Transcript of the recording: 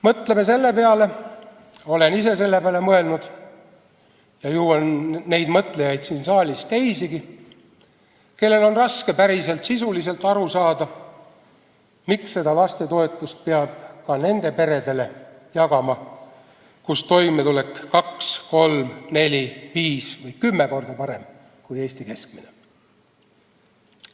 Mõtleme selle peale, olen ise selle peale mõelnud ja ju on neid siin saalis teisigi, kellel on raske päris sisuliselt aru saada, miks lastetoetust peab jagama ka nendele peredele, kus toimetulek on kaks, kolm, neli, viis või kümme korda parem kui Eestis keskmiselt.